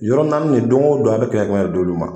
Yɔrɔ naani nin don o don a bɛ kɛmɛ kɛmɛ d'olu ma